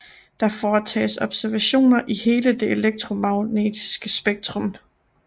Der foretages observationer i hele det elektromagnetiske spektrum